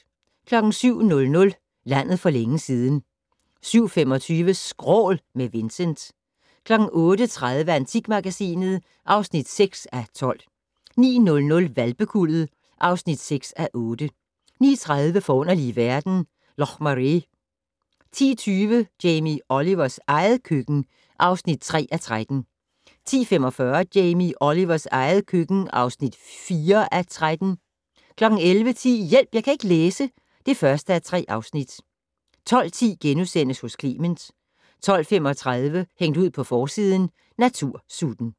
07:00: Landet for længe siden 07:25: Skrål - med Vincent 08:30: Antikmagasinet (6:12) 09:00: Hvalpekuldet (6:8) 09:30: Forunderlige verden - Loch Maree 10:20: Jamie Olivers eget køkken (3:13) 10:45: Jamie Olivers eget køkken (4:13) 11:10: Hjælp! Jeg kan ikke læse (1:3) 12:10: Hos Clement * 12:35: Hængt ud på forsiden: Natursutten